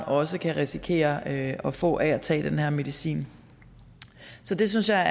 også kan risikere at få af at tage den her medicin så det synes jeg